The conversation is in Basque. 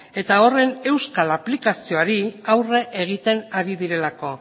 eta horren euskal aplikazioari aurre egiten ari direlako